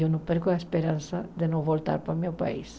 Eu não perco a esperança de não voltar para o meu país.